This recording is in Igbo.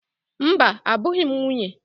Mba, abụghị m nwunye.